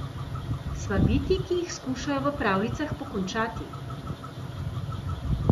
Sva bitji, ki jih skušajo v pravljicah pokončati.